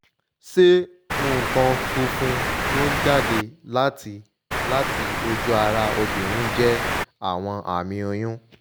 ṣé nkan funfun to n jade lati lati oju ara obirin je awon ami oyun